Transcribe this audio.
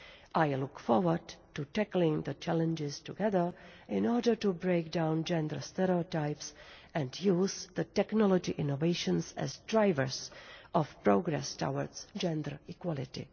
I look forward to tackling the challenges together in order to break down gender stereotypes and use the technological innovations as drivers of progress towards gender equality.